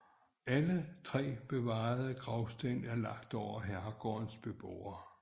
Alle tre bevarede gravsten er lagt over herregårdens beboere